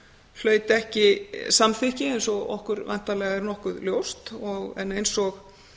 hlaut ekki samþykki eins og okkur væntanlega er nokkuð ljóst en eins og